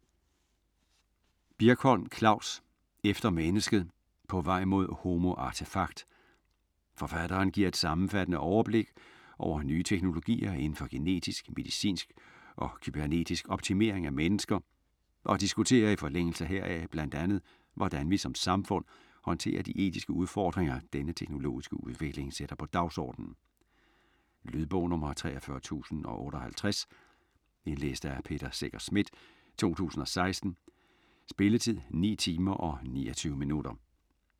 Birkholm, Klavs: Efter mennesket: på vej mod homo artefakt Forfatteren giver et sammenfattende overblik over nye teknologier inden for genetisk, medicinsk og kybernetisk optimering af mennesker, og diskuterer i forlængelse heraf bl.a. hvordan vi som samfund håndterer de etiske udfordringer denne teknologiske udvikling sætter på dagsordenen. Lydbog 43058 Indlæst af Peter Secher Schmidt, 2016. Spilletid: 9 timer, 29 minutter.